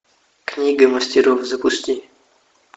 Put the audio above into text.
книга мастеров запусти